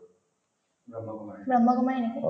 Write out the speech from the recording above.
ব্ৰহ্মকুমাৰী নেকি